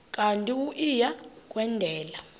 kanti uia kwendela